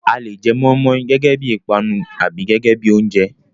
A le jẹ mọ́í-mọ́í gẹ́gẹ́ bí i ìpanu tàbí gẹ́gẹ́ bí i oúnjẹ.